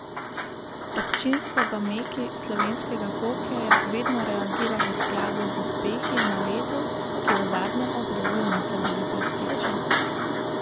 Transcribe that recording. Občinstvo v meki slovenskega hokeja vedno reagira v skladu z uspehi na ledu, ki v zadnjem obdobju niso bili blesteči.